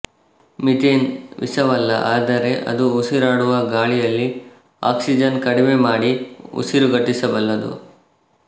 methane ವಿಷವಲ್ಲ ಆದರೆ ಅದು ಉಸಿರಾಡುವ ಗಾಳಿಯಲ್ಲಿ ಆಕ್ಸಿಜನ್ ಕಡಿಮೆ ಮಾಡಿ ಉಸಿರುಗಟ್ಟಿಸಬಲ್ಲದು